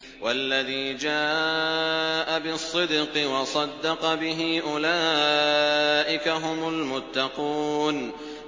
وَالَّذِي جَاءَ بِالصِّدْقِ وَصَدَّقَ بِهِ ۙ أُولَٰئِكَ هُمُ الْمُتَّقُونَ